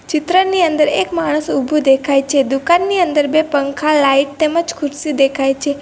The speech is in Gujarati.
ચિત્રની અંદર એક માણસ ઊભું દેખાય છે દુકાનની અંદર બે પંખા લાઈટ તેમજ ખુરશી દેખાય છે.